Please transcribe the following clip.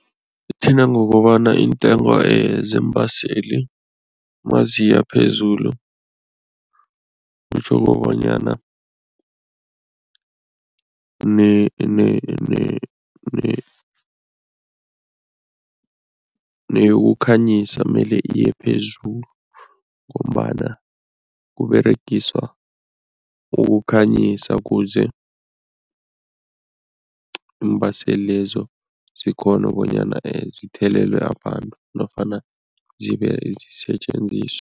Ithinta ngokobana iintengo zeembaseli maziya phezulu, kutjho kobanyana neyokukhanyisa mele iye phezulu ngombana kuberegiswa ukukhanyisa kuze iimbaseli lezo zikghone bonyana zithelelelwe abantu nofana zibe zisetjenziswe.